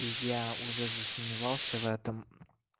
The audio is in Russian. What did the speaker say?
я уже засомневался в этом